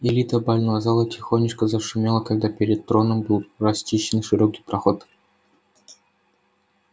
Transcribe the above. илита бального зала тихонечко зашумела когда перед троном был расчищен широкий проход